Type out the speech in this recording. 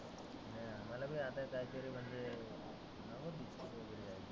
हं मला बी काही तरी म्हणजी